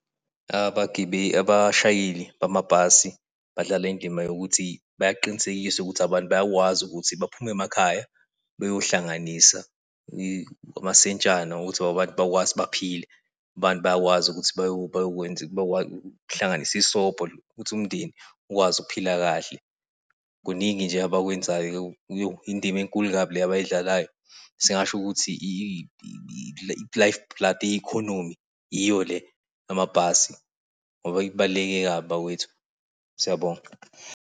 Abashayeli bamabhasi badlala indima yokuthi bayaqinisekisa ukuthi abantu bayakwazi ukuthi baphume emakhaya, beyohlanganisa amasentshana ukuthi abantu bakwazi baphile. Abantu bayakwazi ukuthi bayokwenza bayohlanganisa isobho ukuthi umndeni ukwazi ukuphila kahle. Kuningi nje abakwenzayo. Indima enkulu kabi le abayidlalayo. singasho ukuthi iyo le yamabhasi ngoba ibaluleke kabi bakwethu. Siyabonga.